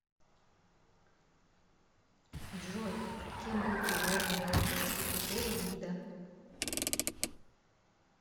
джой кем был предложен биологический критерий вида